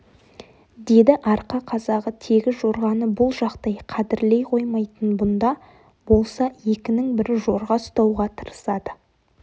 деді арқа қазағы тегі жорғаны бұл жақтай қадірлей қоймайтын бұнда болса екінің бірі жорға ұстауға тырысады